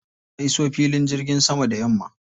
Na iso filin jirgin sama da yamma.